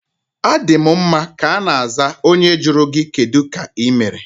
Adi m mma ka ana aza onye jụrụ gị kedụ ka ịmere?